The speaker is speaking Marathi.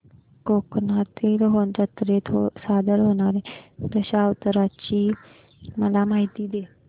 कोकणातील जत्रेत सादर होणार्या दशावताराची मला माहिती दे